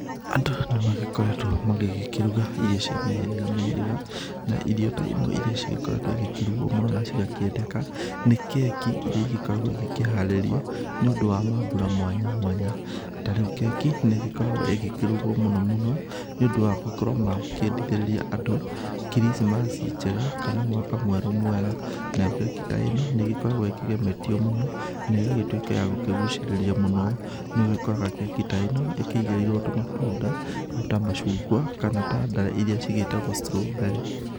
Andũ nĩ magĩkoretwo magĩkĩruga irio cia mĩhĩrĩga mĩhĩrĩga na irio ta imwe iria cigĩkoretwo igĩkĩrugwo mũno na cigakĩendeka nĩ, keki iria igĩkoragwo ikĩharĩrio nĩ ũndũ wa maambura mwanya mwanya ta rĩu keki nĩ ĩgĩkoragwao ĩgĩrugwo mũno mũno nĩ ũndũ wa gũkorwo ma kĩendithĩrĩria and krisimasi njega kana mwaka mwerũ mwega. Nayo keki ta ĩno nĩ ĩgĩkoragwo ĩkĩgemetio mũno na ĩgagĩtuĩka ya gũkĩgucerĩria mũno.No ũgĩkoraga keki ta ĩno ĩkĩigĩrĩrwo tũmatunda ta macungwa, kana tanda irĩa cigĩtagwo strawberry.